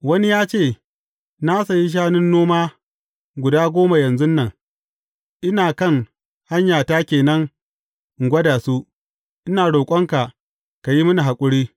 Wani ya ce, Na sayi shanun noma guda goma yanzun nan, ina kan hanyata ke nan in gwada su, ina roƙonka, ka yi mini haƙuri.’